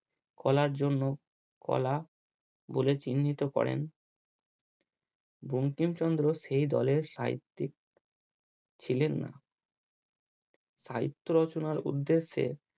কলার জন্য কলা বলে চিহ্নিত করেন বঙ্কিমচন্দ্র সেই দলের সাহিত্যিক। ছিলেন না সাহিত্য রচনার উদ্দেশ্যে